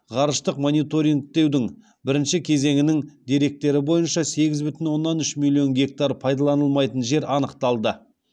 ғарыштық мониторингтеудің бірінші кезеңінің деректері бойынша сегіз бүтін оннан үш миллион гектар пайдаланылмайтын жер анықталды